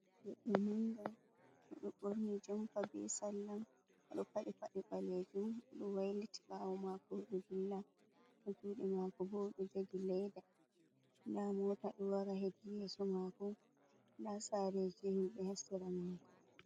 Goɗɗo ɗo dilla o ɗo borni jompa bee salla o ɗo padyi pade baleejum o ɗo wailiti ɓaawo maako o ɗo dilla juudɗe maako boo ɗo jogi layda ndaa moota ɗo wara hedi yeeso maako ndaa saareji himɓe haa sera maako.